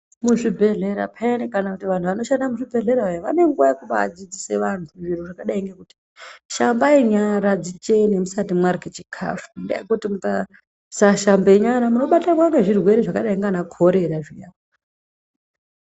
Muzvibhehlera peyani kana kuti vanhu vanoshande muzvibhehleya vane nguwa yekubaa adzidzise vantu zviro zvakadai ngekuti shambai nyara dzichene musati mwarye chikafu ngekuti mukasa shamba nyara munobatwa ngezvirwere zvakadai ndiana korera zviyani.